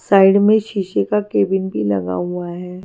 Side में शीशे का केबिन भी लिखा हुआ है।